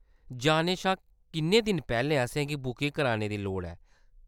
जाने शा किन्ने दिन पैह्‌‌‌लें असेंगी बुकिंग करने दी लोड़ ऐ ?